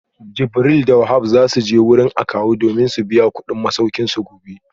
Jibril da Wahab za su je wurin akawu domin su biya kudin masaukinsu gobe